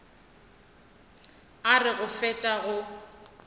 a re go fetša go